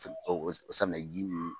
safunɛji min